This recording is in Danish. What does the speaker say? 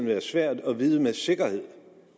være svært at vide med sikkerhed